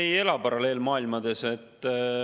Ei, me ei ela paralleelmaailmades.